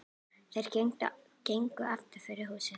Þeir gengu aftur fyrir húsið.